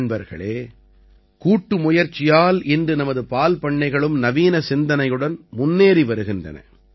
நண்பர்களே கூட்டுமுயற்சியால் இன்று நமது பால்பண்ணைகளும் நவீன சிந்தனையுடன் முன்னேறி வருகின்றன